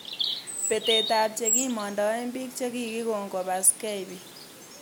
Betetab che kimamdae bik chekikon kobaskei bik